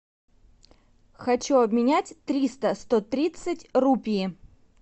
хочу обменять триста сто тридцать рупий